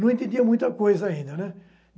Não entendia muita coisa ainda, né?